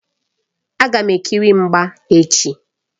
Agam ekiri mgba echi.